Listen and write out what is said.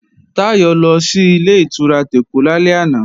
Táyọ̀ lọ sí Ilé-ìtura tèkó lálẹ́ àná